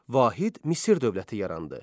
Vahid Misir dövləti yarandı.